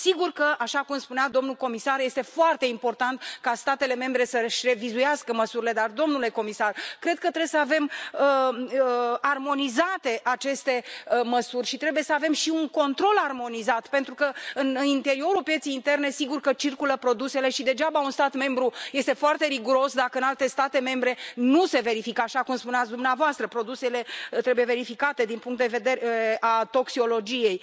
Sigur că, așa cum spunea domnul comisar, este foarte important ca statele membre să își revizuiască măsurile, dar, domnule comisar, cred că trebuie să avem armonizate aceste măsuri și trebuie să avem și un control armonizat pentru că, în interiorul pieței interne, sigur că circulă produsele și degeaba un stat membru este foarte riguros, dacă în alte state membre nu se verifică, așa cum spuneați dumneavoastră produsele trebuie verificate din punctul de vedere al toxicologiei.